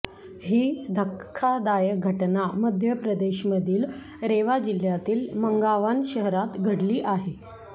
ही धक्कादायक घटना मध्य प्रदेशमधील रेवा जिल्ह्यातील मंगावन शहरात घडली आहे